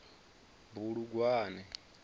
bulugwane